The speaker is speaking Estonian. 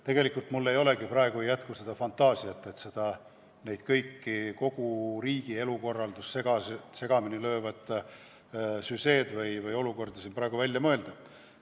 Tegelikult mul ei jätku praegu fantaasiat kogu riigi elukorraldust segamini löövaid sündmusi või olukordi siin välja mõelda.